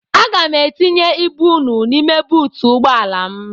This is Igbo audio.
Aga m etinye ibu unu n'ime buutu ụgbọala m.